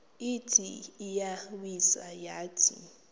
ithi iyawisa yathi